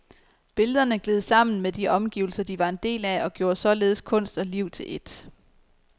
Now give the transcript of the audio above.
Billederne gled sammen med de omgivelser de var en del af, og gjorde således kunst og liv til ét.